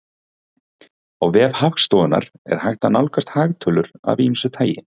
Á vef Hagstofunnar er hægt að nálgast hagtölur af ýmsu tagi.